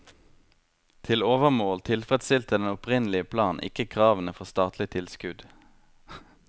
Til overmål tilfredsstilte den opprinnelige plan ikke kravene for statlig tilskudd.